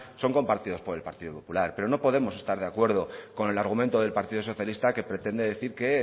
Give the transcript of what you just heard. son compartidos por el partido popular pero no podemos estar de acuerdo con el argumento del partido socialista que pretende decir que